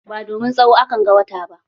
Ba domin tsawo a kan ga wata ba.